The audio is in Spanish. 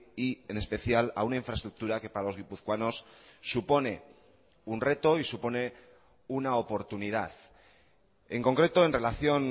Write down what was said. y en especial a una infraestructura que para los guipuzcoanos supone un reto y supone una oportunidad en concreto en relación